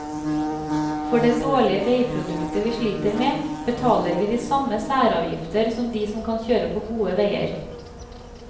For det dårlige veiproduktet vi sliter med, betaler vi de samme særavgifter som de som kan kjøre på gode veier.